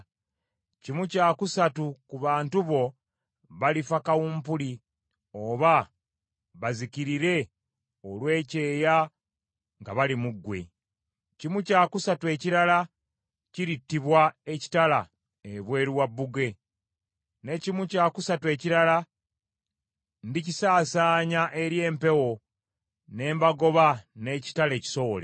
Kimu kya kusatu ku bantu bo balifa kawumpuli oba bazikirire olw’ekyeya nga bali mu ggwe. Kimu kya kusatu ekirala kirittibwa ekitala ebweru wa bbugwe, ne kimu kya kusatu ekirala ndikisaasaanya eri empewo ne mbagoba n’ekitala ekisowole.